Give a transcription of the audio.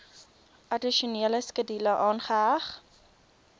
addisionele skedule aangeheg